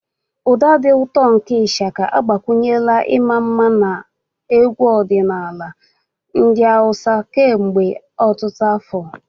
Ụda dị ụtọ nke Ishaka agbakwunyela ịma mma na egwu ọdịnala ndị Hausa kemgbe ọtụtụ afọ.